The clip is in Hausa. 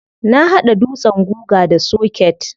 Na hada dutsen guga da soket.